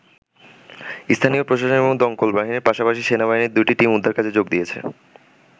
স্থানীয় প্রশাসন এবং দমকল বাহিনীর পাশাপাশি সেনাবাহিনীর দুটি টিম উদ্ধারকাজে যোগ দিয়েছে।